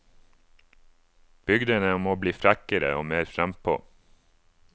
Bygdene må bli frekkere og mer frampå.